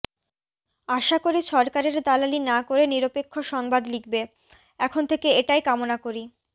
আশা করি সরকারের দালালি না করে নিরপেক্ষ সংবাদ লিখবে এখন থেকে এটাই কামনা করি